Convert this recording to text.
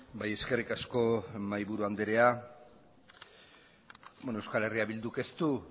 bai eskerrik asko mahaiburu andrea beno euskal herria bilduk ez du